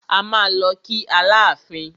A máa lọ kí Aláàfin.